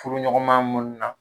Furuɲɔgɔnma minnu na